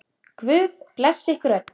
Guð blessi ykkur öll.